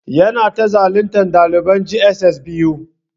Yana ta zaluntan daliban j.s.s biyu.